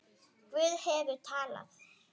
Guð hefur talað.